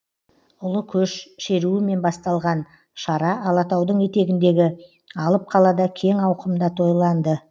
ұлы көш шеруімен басталған шара алатаудың етегіндегі алып қалада кең ауқымда тойланды